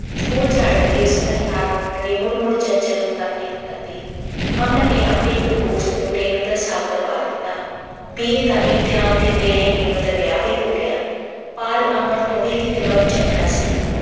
school ਜਾਣ ਲੱਗੇ ਉਸਦਾ ਖਿਆਲ ਰੱਖਣ ਲਈ ਮੁੜ-ਮੁੜ ਚੰਚਲ ਨੂੰ ਤਾਰੀਦ ਕਰਦੀ। ਅਮਨ ਨੇ ਆਪਣੇ ਇੱਕ ਦੋਸਤ ਨੂੰ ਰੇਨੂੰ ਦਾ ਸਾਕ ਕਰਵਾ ਦਿੱਤਾ। B. A. ਦਾ ਇਮਿਤਿਹਾਨ ਦਿੰਦਿਆ ਹੀ ਰੇਨੂੰ ਦੀ ਵਿਆਹ ਵੀ ਹੋ ਗਿਆ। ਪਾਲ ਅਮਰ ਤੋਂ ਵੀ ਕਿਤੇ ਵੱਧ ਚੰਗਾ ਸੀ।